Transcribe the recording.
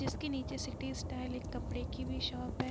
जिसके नीचे city style एक कपड़े की भी शॉप है।